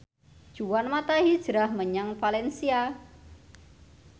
Juan mata hijrah menyang valencia